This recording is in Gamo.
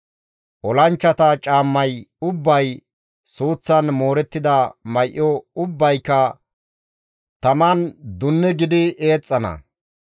Olanchchata caammay ubbay, suuththan moorettida may7o ubbayka taman dunne gidi eexxana.